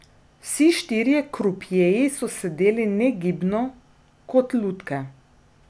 Vsi štirje krupjeji so sedeli negibno, kot lutke.